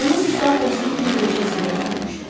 Onun üstü atasının gödəkcəsi ilə örtülmüşdü.